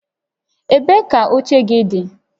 Ebee ka oche gị dị?